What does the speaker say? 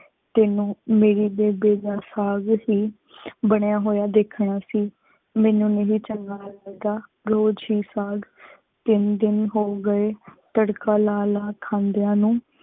ਤੇਨੁ ਮੇਰੇ ਬੇਬੇ ਨਾਲ ਸਾਗ ਸੇ ਬਨਯ ਹੋਯਾ ਦੇਖਣਾ ਸੇ ਮੇਨੂ ਨਹੀ ਚੰਗਾ ਲਗਦਾ ਰੋਜ਼ ਹੇ ਸਾਗ ਤੀਨ ਦਿਨ ਹੋ ਗਏ ਤਾਰਕਾ ਲਾ ਲਾ ਖਾਂਦਿਯਾ ਨੂ